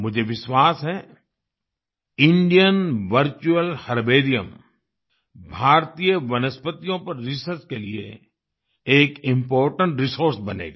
मुझे विश्वास है इंडियन वर्चुअल हर्बेरियम भारतीय वनस्पतियों पर रिसर्च के लिए एक इम्पोर्टेंट रिसोर्स बनेगा